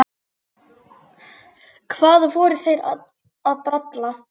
Hvað voru þeir að bralla?